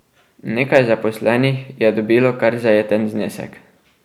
Nekaj zaposlenih je dobilo kar zajeten znesek.